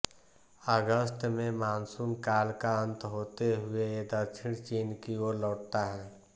अगस्त में मानसून काल का अन्त होते हुए ये दक्षिण चीन की ओर लौटता है